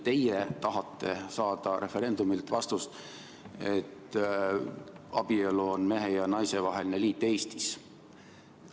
Teie tahate saada referendumilt vastust küsimusele, et kas abielu on mehe ja naise vaheline liit Eestis.